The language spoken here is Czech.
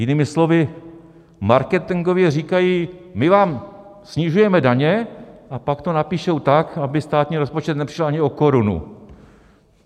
Jinými slovy, marketingově říkají "my vám snižujeme daně", a pak to napíšou tak, aby státní rozpočet nepřišel ani o korunu.